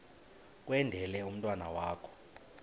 kwendele umntwana wakho